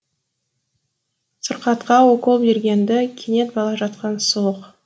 сырқатқа укол берген ді кенет бала жатқан сұлық